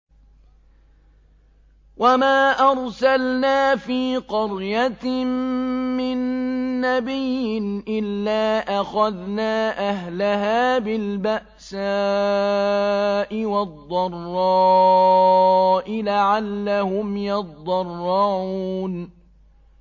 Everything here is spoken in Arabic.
وَمَا أَرْسَلْنَا فِي قَرْيَةٍ مِّن نَّبِيٍّ إِلَّا أَخَذْنَا أَهْلَهَا بِالْبَأْسَاءِ وَالضَّرَّاءِ لَعَلَّهُمْ يَضَّرَّعُونَ